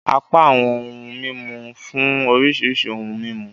Apá awọn ohun mímú nfun oríṣiríṣi ohùn mímú.